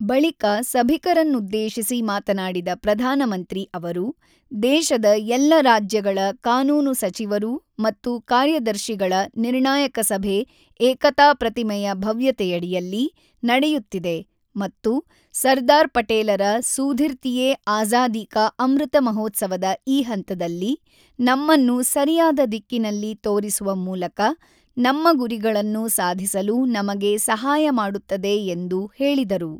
ಬಳಿಕ ಸಭಿಕರನ್ನುದ್ದೇಶಿಸಿ ಮಾತನಾಡಿದ ಪ್ರಧಾನಮಂತ್ರಿ ಅವರು, ದೇಶದ ಎಲ್ಲರಾಜ್ಯಗಳ ಕಾನೂನು ಸಚಿವರು ಮತ್ತು ಕಾರ್ಯದರ್ಶಿಗಳ ನಿರ್ಣಾಯಕ ಸಭೆ ಏಕತಾ ಪ್ರತಿಮೆಯ ಭವ್ಯತೆಯಡಿಯಲ್ಲಿ ನಡೆಯುತ್ತಿದೆ ಮತ್ತು ಸರ್ದಾರ್ ಪಟೇಲರ ಸೂಧಿರ್ತಿಯೇ ಆಜಾದಿ ಕಾ ಅಮೃತ ಮಹೋತ್ಸವದ ಈ ಹಂತದಲ್ಲಿ ನಮ್ಮನ್ನು ಸರಿಯಾದ ದಿಕ್ಕಿನಲ್ಲಿ ತೋರಿಸುವ ಮೂಲಕ ನಮ್ಮ ಗುರಿಗಳನ್ನು ಸಾಧಿಸಲು ನಮಗೆ ಸಹಾಯ ಮಾಡುತ್ತದೆ ಎಂದು ಹೇಳಿದರು.